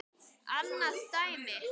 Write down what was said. Annað dæmi.